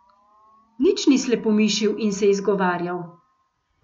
Nič ni slepomišil in se izgovarjal.